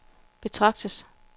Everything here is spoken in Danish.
betragtes